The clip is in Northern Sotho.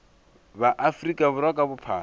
ba afrika borwa ka bophara